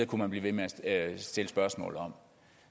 kunne man blive ved med at stille spørgsmål om